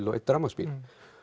og einn rafmagnsbíl